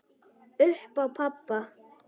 Upp á pabba.